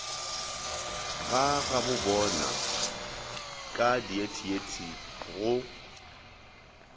ga gabobona ka diethiethi go